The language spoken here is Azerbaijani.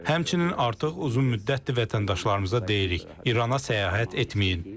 Həmçinin artıq uzun müddətdir vətəndaşlarımıza deyirik: İrana səyahət etməyin.